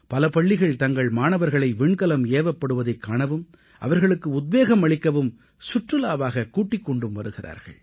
பல பள்ளிகள் தங்கள் மாணவர்களை விண்கலம் ஏவப்படுவதைக் காணவும் அவர்களுக்கு உத்வேகம் அளிக்கவும் சுற்றுலாவாகக் கூட்டிக் கொண்டும் வருகிறார்கள்